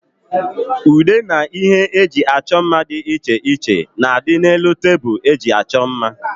Ude na ihe eji achọ mma dị iche iche na adị n'elu tebụl eji achọ mma